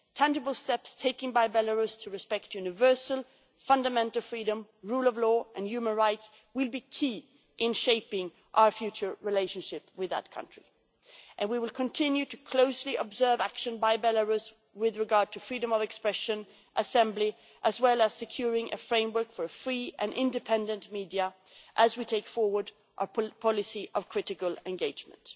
Tangible steps taken by Belarus to respect universal fundamental freedom, rule of law and human rights will be key in shaping our future relationship with that country, and we will continue to closely observe action by Belarus with regard to freedom of expression and assembly, as well as securing a framework for a free and independent media, as we take forward a policy of critical engagement.